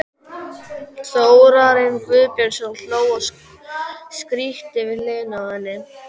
Þórarinn Guðbjörnsson hló og skríkti við hliðina á henni.